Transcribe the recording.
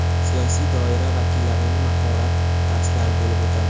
siyosiy doira vakillarining mahorat darslari bo‘lib o‘tadi.